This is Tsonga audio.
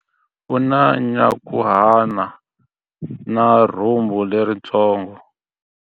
U na nyankhuhana na rhumbu leritsongo.